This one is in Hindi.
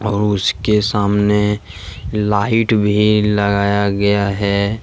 और उसके सामने लाइट भी लगाया गया है।